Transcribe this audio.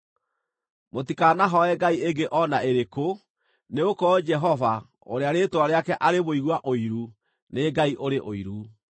Mũtikanahooe ngai ĩngĩ o na ĩrĩkũ, nĩgũkorwo Jehova, ũrĩa rĩĩtwa rĩake arĩ Mũigua Ũiru, nĩ Ngai ũrĩ ũiru.